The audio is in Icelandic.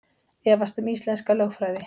Efast um íslenska lögfræði